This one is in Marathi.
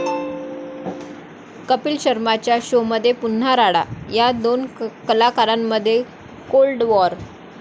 कपिल शर्माच्या शोमध्ये पुन्हा राडा, 'या' दोन कलाकारांमध्ये कोल्ड वॉर?